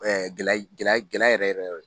Ɛɛ gɛlɛ yɛrɛ yɛrɛ yɔrɔ